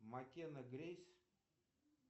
маккенна грейс